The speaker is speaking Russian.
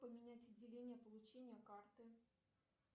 поменять отделение получения карты